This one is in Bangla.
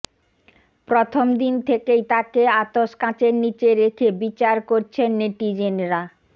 প্রথমদিন থেকেই তাঁকে আতস কাঁচের নীচে রেখে বিচার করছেন নেটিজেনরা